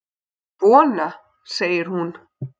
Svona! segir hún.